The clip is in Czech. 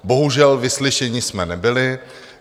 Bohužel, vyslyšeni jsme nebyli.